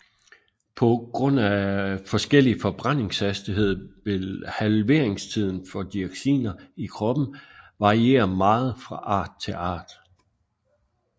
På grund af forskellig forbrændingshastighed vil halveringstiden for dioxiner i kroppen variere meget fra art til art